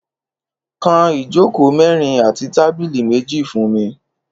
Kán ijókó mèrin àtí tàbìlí méji fùn mi